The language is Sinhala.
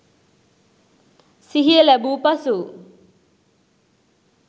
සිහිය ලැබූ පසු